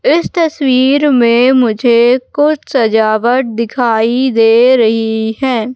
इस तस्वीर में मुझे कुछ सजावट दिखाई दे रही है।